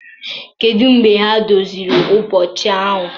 Kedu mgbe ha doziri ụbọchị ahụ?